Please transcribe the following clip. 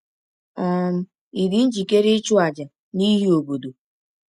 um Ị̀ dị njikere ịchụ àjà n’ihi obodo?